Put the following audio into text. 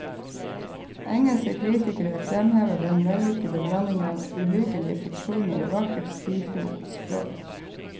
Engelske kritikere fremhever den vellykkede blandingen av uhyggelige fiksjoner og vakkert, stilfullt språk.